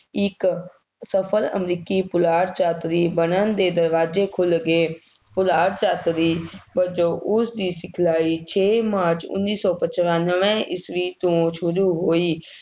ਇੱਕ ਸਫਲ ਅਮਰੀਕੀ ਪੁਲਾੜ ਯਾਤਰੀ ਬਣਨ ਦੇ ਦਰਵਾਜ਼ੇ ਖੁੱਲ੍ਹ ਗਏ, ਪੁਲਾੜ ਯਾਤਰੀ ਵਜੋਂ ਉਸਦੀ ਸਿਖਲਾਈ ਛੇ ਮਾਰਚ ਉੱਨੀ ਸੌ ਪਚਾਨਵੇਂ ਈਸਵੀ ਤੋਂ ਸ਼ੁਰੂ ਹੋਈ,